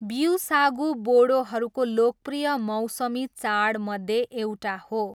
ब्विसागू बोडोहरूको लोकप्रिय मौसमी चाडमध्ये एउटा हो।